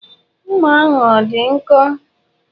Mma ahụ ọ dị nkọ?